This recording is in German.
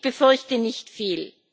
Ich befürchte nicht viel.